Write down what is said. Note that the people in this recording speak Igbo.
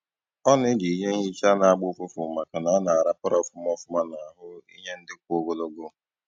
Ọ na-eji ihe nhicha na-agba ụfụfụ maka na ọ na a rapara ofuma ofuma n'ahụ ihe ndị kwụ ogologo